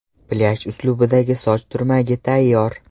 Plyaj uslubidagi soch turmagi tayyor!